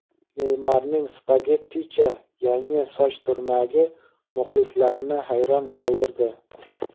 Neymarning "spagetticha" yangi soch turmagi muxlislarni hayron qoldirdi.